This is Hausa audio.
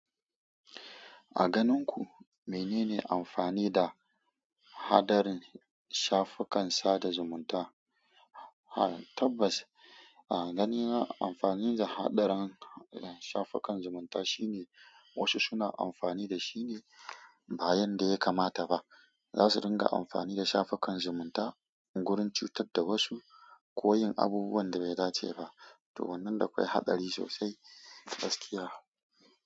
A ganin ku mene ne amfani da hadarin shafukan sada zumunta? Tabbas, a ganina amfanin da hadarin shafukan zumunta shine wasu suna amfani da shi ne bayan da ya kamata ba. Za su ringa amfani da shafukan zumunta wurin cutar da wasu ko yin abubuwan da bai dace ba. To wannan da akwai haɗari sosai, gaskiya.